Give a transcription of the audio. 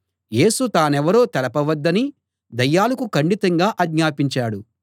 యేసు తానెవరో తెలపవద్దని దయ్యాలకు ఖండితంగా ఆజ్ఞాపించాడు